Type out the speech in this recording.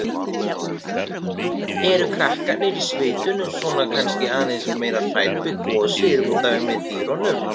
Karen: Eru krakkarnir í sveitunum svona kannski aðeins meira hrædd við gosið útaf einmitt dýrunum?